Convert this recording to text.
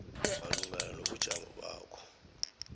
malungana nobujamo bakho